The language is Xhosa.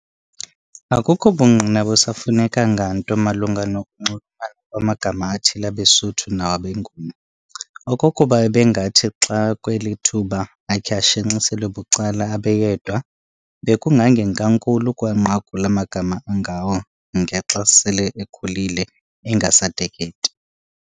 Akukho bungqina busafuneka nganto malunga noku kunxulumana kwamagama athile abeSuthu nawabeNguni. Okokuba ebengathi xaakweli thuba akhe ashenxiselwe bucala abe yedwa, bekungangenkankulu ukuwanqakula amagama angawo ngexa asel'ekhulile engasateketi.